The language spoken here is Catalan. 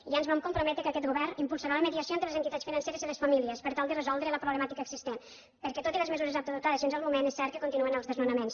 i ja ens vam comprometre que aquest govern impulsarà la mediació entre les entitats financeres i les famílies per tal de resoldre la problemàtica existent perquè tot i les mesures adoptades fins al moment és cert que continuen els desnonaments